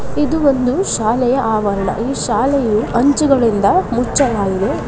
ಇದು ಒಂದು ಶಾಲೆಯ ಆವರಣ ಈ ಶಾಲೆಯು ಅಂಚುಗಳಿಂದ ಮುಚ್ಚಲಾಗಿದೆ .